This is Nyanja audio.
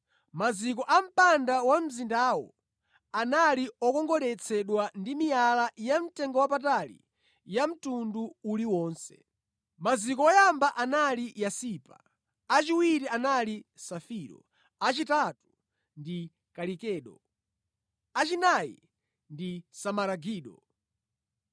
Maziko a mpanda wa mzindawo anali okongoletsedwa ndi miyala yamtengowapatali ya mtundu uliwonse. Maziko oyamba anali yasipa, achiwiri anali safiro, achitatu ndi kalikedo, achinayi ndi simaragido,